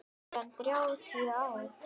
Meira en þrjátíu ár.